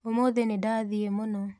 ũmũthĩ nĩndathiĩ mũno.